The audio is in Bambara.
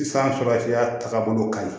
Sisan farafinya tagabolo kaɲi